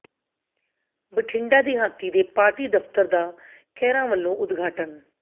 ਬਠਿੰਡਾ ਦਿਹਾਤੀ ਦੇ ਪਾਰਟੀ ਦਫਤਰ ਦਾ ਖਹਿਰਾ ਵਲੋਂ ਉਦਘਾਟਨ